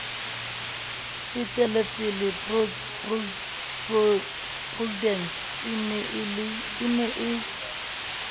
fetelepele prudence e ne e